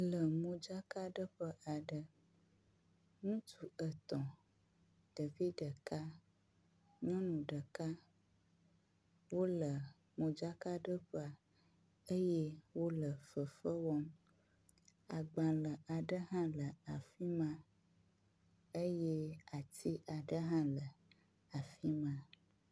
Le modzakaɖeƒe aɖe. Ŋutsu etɔ̃, ɖevi ɖeka, nyɔnu ɖeka wo le modzakaɖeƒea eye wo le fefe wɔm. agbale aɖe hã le afi ma eye ati aɖe hã le afi ma.